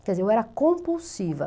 Quer dizer, eu era compulsiva.